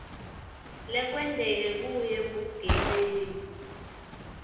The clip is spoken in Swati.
lekwenteke kuyo bugebengu